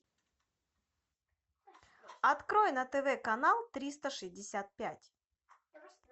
открой на тв канал триста шестьдесят пять